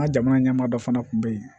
An ka jamana ɲɛmaa dɔ fana kun be yen